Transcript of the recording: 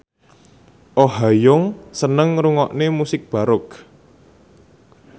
Oh Ha Young seneng ngrungokne musik baroque